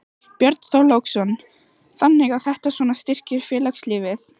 Björn Þorláksson: Þannig að þetta svona styrkir félagslífið?